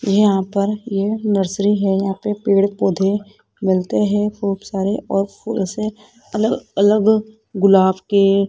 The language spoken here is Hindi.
यहां पर ये नर्सरी है यहां पे पेड़ पौधे मिलते है खूब सारे और फूलो से अलग अलग गुलाब के--